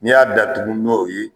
Ni y'a datugu n'o ye